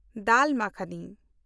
ᱫᱟᱞ ᱢᱟᱠᱷᱱᱤ